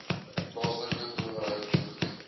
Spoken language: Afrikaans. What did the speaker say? plaaslike owerheid toegeken